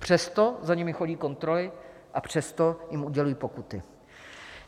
Přesto za nimi chodí kontroly a přesto jim udělují pokuty.